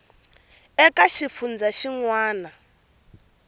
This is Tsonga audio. eka xifundzha xin wana na